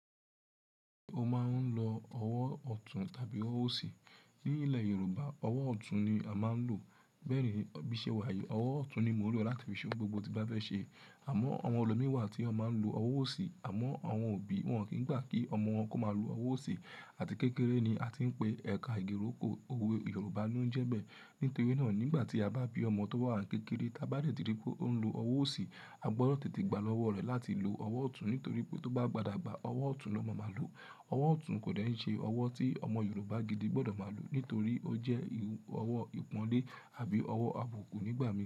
Mo máa ń lo ọwọ́ ọ̀tún tàbí ọwọ́ òsì. Ní ilé Yorùbá, ọwọ́ ọ̀tún ni a máa ń lò. Bẹ́ẹ̀ni, bí iṣẹ́ wa yẹ, ọwọ́ ọ̀tún ni mo ń lò láti fi ṣe ohun gbogbo ti ba bẹ ṣe. Àmọ́ àwọn olómi wa tí ó máa ń lo ọwọ́ òsì. Àmọ́ àwọn òbí wọn kìí gbà kí ọmọ wọn kó má lo ọwọ́ òsì àti kékeré ni a ti ń pe ẹ̀ka igi ìrókò òwe Yorùbá ló ń jẹ bẹ́. Nítorí náà nígbàtí a bá bí ọmọ tó wà kékeré, ta bá dé ti rí pé ó ń lo ọwọ́ òsì, a gbọdọ̀ tètè gbà lọ́wọ́ rẹ̀ láti lo ọwọ́ ọ̀tún. Nítorí pé tó bá bá dabga, ọwọ́ ọ̀tún ló ma ma lò. Owọ ọ̀tún kò dẹ̀ ǹ ṣe ọwọ́ tí ọmọ Yorùbá gidi gbọdọ̀ ma lò nítorí ó jẹ́ ọwọ́ ìpọ̀nlé àbí ọwọ́ àbùkù nígbàmíì.